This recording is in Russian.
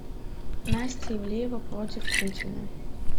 настя ивлеева против путина